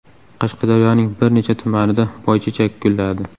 Qashqadaryoning bir necha tumanida boychechak gulladi.